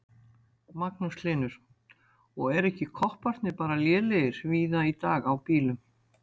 Magnús Hlynur: Og eru ekki kopparnir bara lélegir víða í dag á bílum?